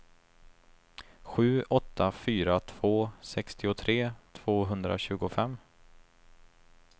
sju åtta fyra två sextiotre tvåhundratjugofem